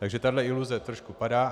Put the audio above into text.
Takže tahle iluze trošku padá.